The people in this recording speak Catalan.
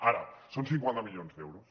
ara són cinquanta milions d’euros